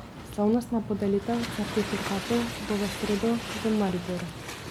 Slavnostna podelitev certifikatov bo v sredo v Mariboru.